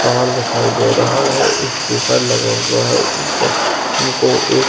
तार दिखाई दे रहा है एक पेपर लगा हुआ है ऊपर हमको एक --